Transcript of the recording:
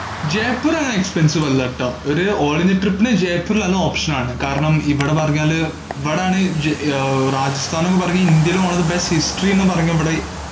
ജയ്‌പൂർ അങ്ങന expensive അല്ലാട്ടോ, ഒരു all ഇന്ത്യാ trip ഇന് ജയ്‌പൂർ നല്ല option ആണ്, കാരണം ഇവിടെ പറഞ്ഞാല് ഇവിടാണേൽ ജയ്~ ഏർ രാജസ്ഥാനന്നു പറഞ്ഞാ ഇന്ത്യയിലെ one of the best history ന്ന് പറഞ്ഞിവിടെ